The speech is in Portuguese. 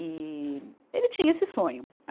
E ele tinha esse sonho.